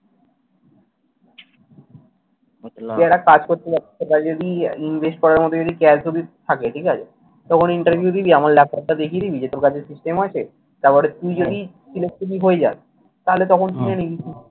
তুই একটা কাজ করতে পারিস, তোর যদি invest করার মতন যদি cash যদি থাকে ঠিক আছে? তো ওখানে Interview দিলি, আমার ল্যাপটপটা দেখিয়ে দিবি যে, তোর কাছে system আছে। তারপরে তুই যদি হয়ে যাস তাহলে তখন কিনে নিবি।